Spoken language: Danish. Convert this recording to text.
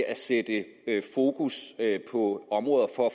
at sætte fokus på områder for at